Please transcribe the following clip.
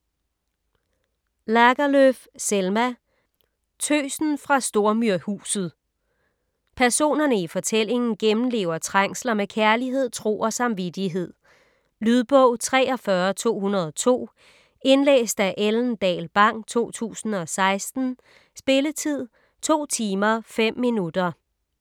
Lagerlöf, Selma: Tøsen fra Stormyrhuset Personerne i fortællingen gennemlever trængsler med kærlighed, tro og samvittighed. Lydbog 43202 Indlæst af Ellen Dahl Bang, 2016. Spilletid: 2 timer, 5 minutter.